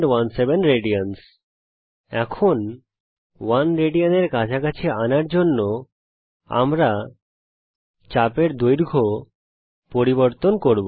1 Rad এর কাছাকাছি আনার জন্যে আমরা এখন চাপের দৈর্ঘ্য পরিবর্তন করব